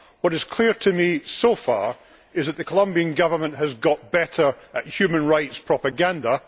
What is clear to me so far is that the Colombian Government has got better at human rights propaganda.